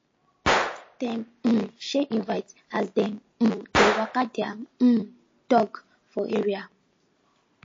dem um share invite as dem um dey waka their um dog for area